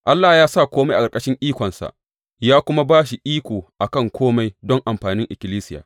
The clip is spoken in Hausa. Allah ya sa kome a ƙarƙashin ikonsa, ya kuma ba shi iko a kan kome don amfanin ikkilisiya.